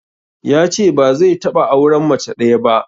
Yace ba zai taɓa auren mace ɗaya ba.